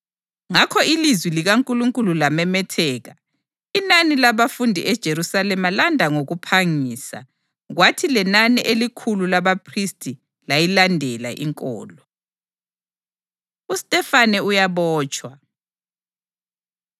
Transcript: Ngakho ilizwi likaNkulunkulu lamemetheka. Inani labafundi eJerusalema landa ngokuphangisa, kwathi lenani elikhulu labaphristi layilandela inkolo. UStefane Uyabotshwa